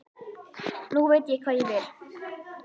Nú veit ég hvað ég vil.